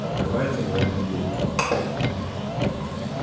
открывается дуэльный клуб